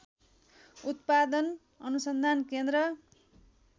उत्‍पादन अनुसन्धान केन्द्र